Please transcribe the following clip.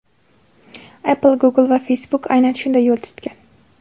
Apple, Google va Facebook aynan shunday yo‘l tutgan.